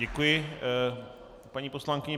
Děkuji paní poslankyni.